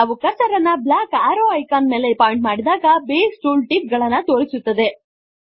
ನಾವು ಕರ್ಸರ್ ಅನ್ನು black arrow icon ಗಳ ಮೇಲೆ ಪಾಯಿಂಟ್ ಮಾಡಿದಾಗ ಬೇಸ್ ಟೂಲ್ ಟಿಪ್ ಗಳನ್ನು ತೋರಿಸುತ್ತದೆ